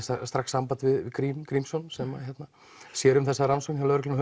strax samband við Grím Grímsson sem sér um þessa rannsókn hjá lögreglunni